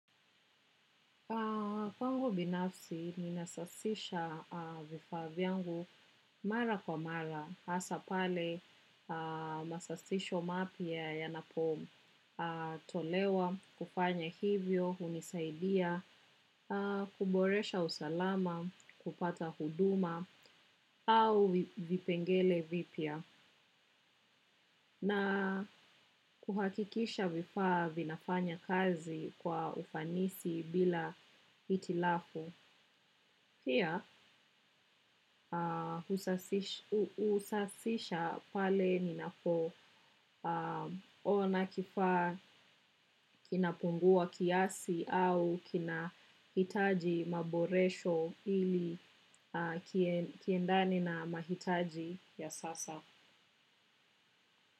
Kwangu binafsi, ninasasisha vifaa vyangu mara kwa mara, hasaa pale masasisho mapya yanapotolewa, kufanya hivyo, hunisaidia, kuboresha usalama, kupata huduma, au vipengele vipia. Na kuhakikisha vifaa vinafanya kazi kwa ufanisi bila itilafu. Pia usasisha pale ninapo ona kifaa kinapungua kiasi au kinahitaji maboresho ili kiendane na mahitaji ya sasa.